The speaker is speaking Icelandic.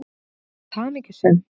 Þú varst hamingjusöm.